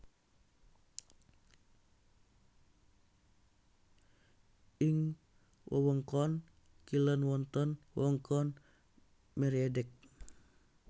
Ing wewengkon kilèn wonten wewengkon Mériadeck